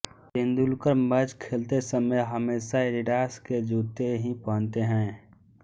Tendulkar match खेलते समय हमेशा एडिडास के जूते ही पहनते हैं